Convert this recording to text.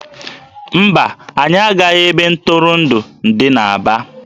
Mba, anyị agaghị ebe ntụrụndụ dị n'Aba